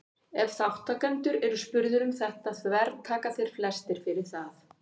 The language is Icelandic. ef þátttakendur eru spurðir um þetta þvertaka þeir flestir fyrir það